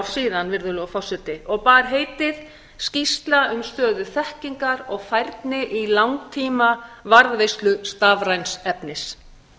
síðan og bar heitið skýrsla um stöðu þekkingar og færni í langtímavarðveislu stafræns efnis